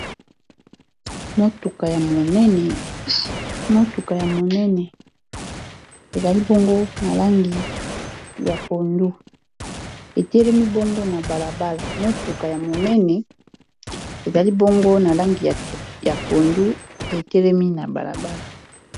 Motuka ya monene ezali bongo na langi ya pondu etelemi na balabala